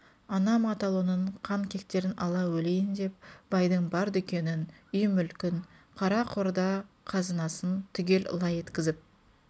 анам атаулынын қан кектерін ала өлейін деп байдың бар дүкенін үй-мүлкін қара-қорда қызынасын түгел лай еткізіп